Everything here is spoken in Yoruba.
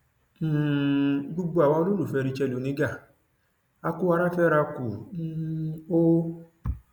um gbogbo àwa olólùfẹ rachael oníga á kù ara fẹra kù um o